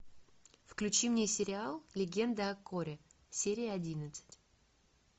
включи мне сериал легенда о корре серия одиннадцать